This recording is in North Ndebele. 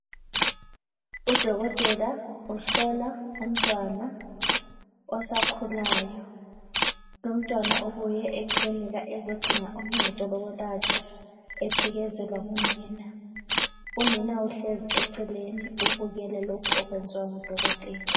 Udokotela uhlola umntwana osakhulayo, lomntwana ubuye eklinika ezodinga uncedo lokwelatshwa ephekezelwa ngunina. Unina uhlezi eceleni ubukele lokhu okwenziwa ngudokotela.